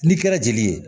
N'i kɛra jeli ye